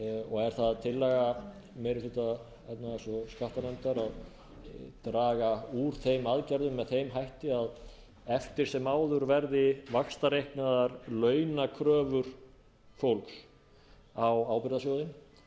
og er það tillaga meiri hluta efnahags og skattanefndar að draga úr þeim aðgerðum með þeim hætti að eftir sem áður verði vaxtareiknaðar launakröfur fólks á ábyrgðasjóðinn